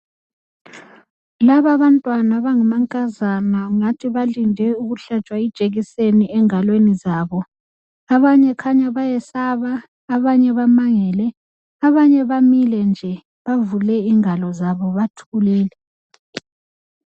Laba abantwana abangamankazana kungathi balinde ukuhlatshwa ijekiseni engalweni zabo abanye kukhanya bayesaba abanye bamangele abanye bamile nje bavule ingalo nje bathulile.